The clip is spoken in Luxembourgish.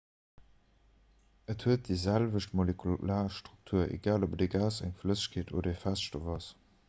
et huet déi selwecht molekular struktur egal ob et e gas eng flëssegkeet oder e feststoff ass